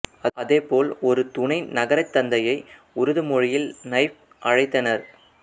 அதேபோல் ஒரு துணை நகரத்தந்தையை உருது மொழியில் நைப் அழைத்தானர்